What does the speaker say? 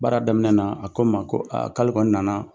Baara daminɛ na a ko n ma ko a k'ale kɔni nana